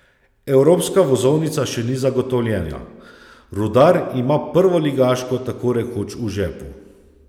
Evropska vozovnica še ni zagotovljena, Rudar ima prvoligaško tako rekoč v žepu.